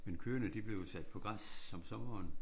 Men køerne de blev jo sat på græs om sommeren